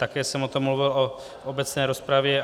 Také jsem o tom mluvil v obecné rozpravně.